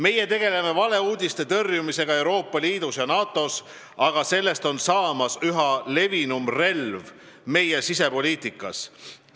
Meie tegeleme valeuudiste tõrjumisega Euroopa Liidus ja NATO-s, aga nendest on saamas üha levinum relv meie sisepoliitikas.